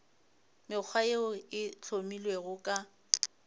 mekgwa yeo e hlomilwego ka